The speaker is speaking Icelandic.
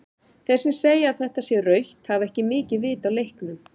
Þeir sem segja að þetta sé rautt hafa ekki mikið vit á leiknum.